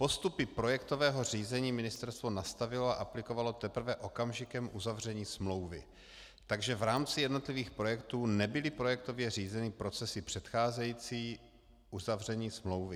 Postupy projektového řízení ministerstvo nastavilo a aplikovalo teprve okamžikem uzavření smlouvy, takže v rámci jednotlivých projektů nebyly projektově řízeny procesy předcházející uzavření smlouvy.